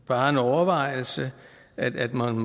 bare en overvejelse at man